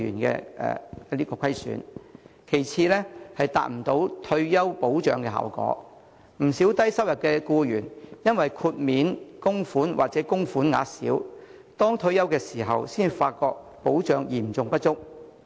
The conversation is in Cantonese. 其次，強積金達不到退休保障效果，不少低收入僱員因為豁免供款或供款額小，到退休時才發覺保障嚴重不足。